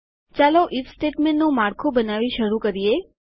ચાલો આઇએફ સ્ટેટમેન્ટનું માળખું બનાવી શરૂ કરીએ